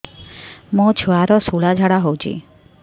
ମୋ ଛୁଆର ସୁଳା ଝାଡ଼ା ହଉଚି